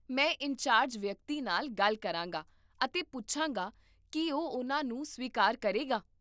ਮੈਂ ਇੰਚਾਰਜ ਵਿਅਕਤੀ ਨਾਲ ਗੱਲ ਕਰਾਂਗਾ ਅਤੇ ਪੁੱਛਾਂਗਾ ਕਿ ਉਹ ਉਹਨਾਂ ਨੂੰ ਸਵੀਕਾਰ ਕਰੇਗਾ